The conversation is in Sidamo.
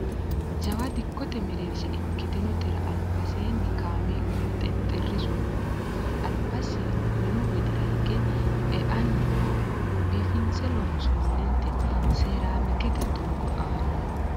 jawa dikkote mereersha ikkitinotera albaseeni kameelunna xexxerrisu noohu albasi minu widira hige e"anni noohu biifinse loonsoonnite seeraamikete doogo aana no